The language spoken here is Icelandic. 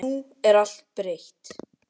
En nú er allt breytt.